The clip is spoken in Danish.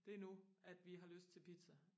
det nu at vi har lyst til pizza